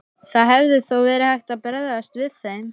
Það hefði þó verið hægt að bregðast við þeim.